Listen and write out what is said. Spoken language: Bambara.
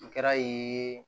O kɛra